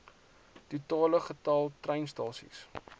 totale getal treinstasies